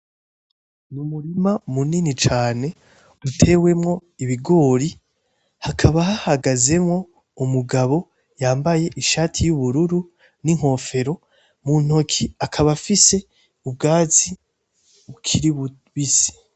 Ni umurima munini cane utewemwo ibigori, hakaba hahagazemwo umugabo yambaye ishati y'ubururu n'inkofero, mu ntoki akaba afise ubwatsi bukiri bubisi.